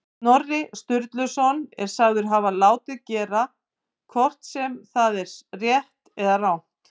Snorri Sturluson er sagður hafa látið gera, hvort sem það er rétt eða rangt.